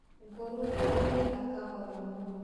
Nguru nĩĩthiaga kahora mũno.